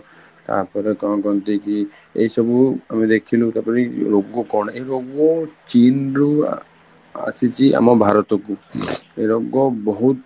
ତାପରେ କଣ କହନ୍ତି କି ଏଇ ସବୁ ଆମେ ଦେଖିଲୁ ତାପରେ ରୋଗ କଣ ଏଇ ରୋଗ ଚୀନରୁ ଆସିଛି ଆମ ଭାରତକୁ ଏଇ ରୋଗ ବହୁତ